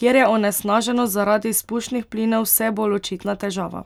kjer je onesnaženost zaradi izpušnih plinov vse bolj očitna težava.